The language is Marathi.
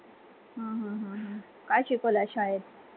हा हा हा, काय शिकवलं आज शाळेत